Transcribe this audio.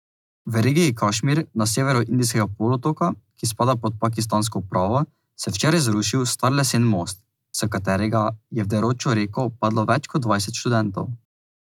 V regiji Kašmir na severu indijskega polotoka, ki spada pod pakistansko upravo, se je včeraj zrušil star lesen most, s katerega je v deročo reko padlo več kot dvajset študentov.